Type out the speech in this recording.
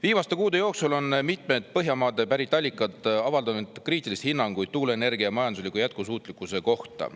Viimaste kuude jooksul on mitmed Põhjamaadelt pärit allikad avaldanud kriitilisi hinnanguid tuuleenergia majandusliku jätkusuutlikkuse kohta.